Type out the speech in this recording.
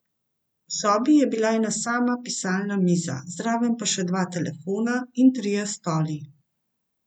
V sobi je bila ena sama pisalna miza, zraven pa še dva telefona in trije stoli.